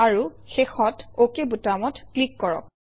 আৰু শেষত অক বুটামত ক্লিক কৰক